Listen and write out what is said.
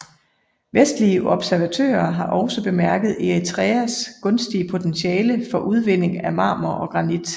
Vestlige observatører har også bemærket Eritreas gunstige potentiale for udvinding af marmor og granit